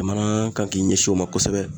Jamana kan k'i ɲɛsin o ma kosɛbɛ